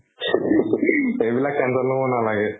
সেইবিলাক tension লব নালাগে।